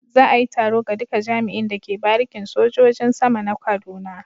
Za a yi taro ga duka jami'in da ke barikin sojojin sama na kaduna.